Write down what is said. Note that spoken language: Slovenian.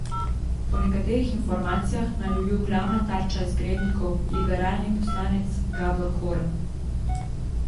Po nekaterih informacijah naj bi bil glavna tarča izgrednikov liberalni poslanec Gabor Horn.